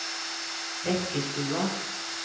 Bekkestua